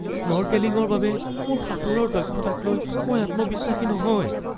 স্নৰ্কেলিঙৰ বাবে মোৰ সাঁতোৰৰ দক্ষতাকলৈ মই আত্মবিশ্বাসী নহয়।